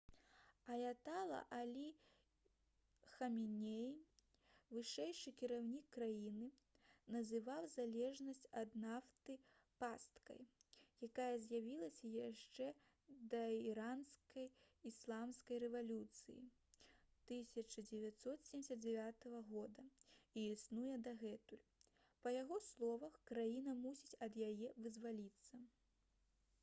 аятала алі хаменеі вышэйшы кіраўнік краіны называў залежнасць ад нафты «пасткай» якая з'явілася яшчэ да іранскай ісламскай рэвалюцыі 1979 года і існуе дагэтуль. па яго словах краіна мусіць ад яе вызваліцца